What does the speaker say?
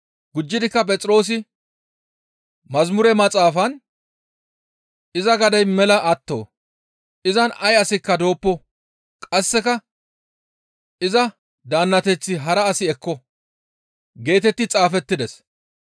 Gujjidikka Phexroosi, «Yeththa maxaafan, ‹Iza gadey mela atto; izan ay asikka dooppo; qasseka iza daannateth hara asi ekko› geetetti xaafettides.